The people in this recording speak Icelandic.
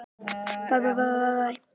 Spenna og tilhlökkun Blika